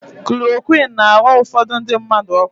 Kulorokwịn na-aghọ ufodu ndị mmadụ ọkọ.